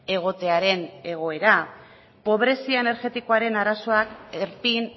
egotearen egoera pobrezia energetikoaren arazoak erpin